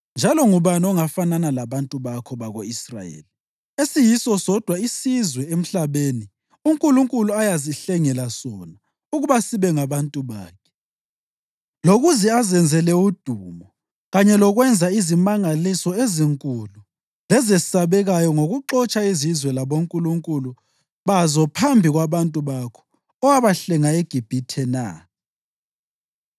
Njalo ngubani ongafanana labantu bakho bako-Israyeli esiyiso sodwa isizwe emhlabeni uNkulunkulu ayazihlengela sona ukuba sibe ngabantu bakhe, lokuze azenzele udumo kanye lokwenza izimangaliso ezinkulu lezesabekayo ngokuxotsha izizwe labonkulunkulu bazo phambi kwabantu bakho owabahlenga eGibhithe na?